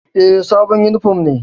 E, sabon yunifom ne.